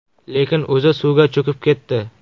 Lekin o‘zi suvga cho‘kib ketdi.